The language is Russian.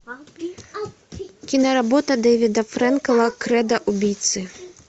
киноработа дэвида фрэнкела кредо убийцы